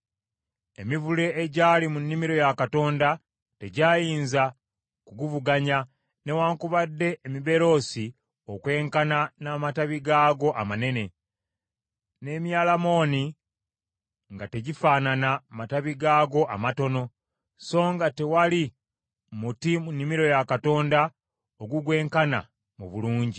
Emivule egyali mu nnimiro ya Katonda tegyayinza kuguvuganya, newaakubadde emiberoosi okwenkana n’amatabi gaagwo amanene; n’emyalamooni nga tegifaanana matabi gaagwo amatono, so nga tewali muti mu nnimiro ya Katonda ogugwenkana mu bulungi.